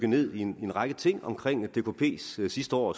ned i en række ting omkring dkps sidste år